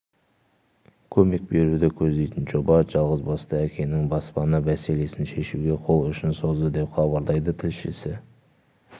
көмек беруді көздейтін жоба жалғызбасты әкенің баспана мәселесін шешуге қол ұшын созды деп хабарлайды тілшісі